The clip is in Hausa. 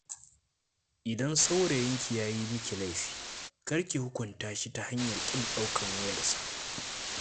Idan saurayinki ya yi miki laifi, kar ki hukunta shi ta hanyar ƙin ɗaukan wayarsa.